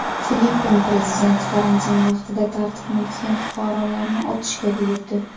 Filippin prezidenti karantin vaqtida tartibni buzgan fuqarolarni otishga buyurdi.